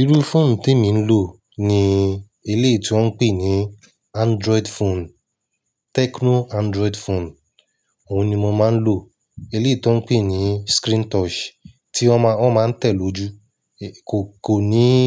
Irú phone tí mo ń lò ni eléè tí wọ́n ń pè ní Android phone, Tecno Android phone. Òhun ni mo máa ń lò. Eléè tí wọ́n ń pè ní screen touch tí wọ́n máa, wọ́n máa ń tẹ̀ lójú. Kò, kò nííí,